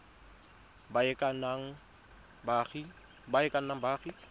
ba e ka nnang baagi